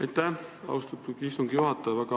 Aitäh, austatud istungi juhataja!